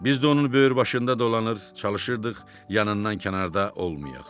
Biz də onun böyürbaşında dolanır, çalışırdıq yanından kənarda olmayaq.